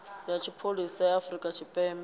ya tshipholisa ya afrika tshipembe